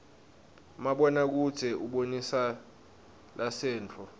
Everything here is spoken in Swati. mabona kudze ubonisa lasenttfo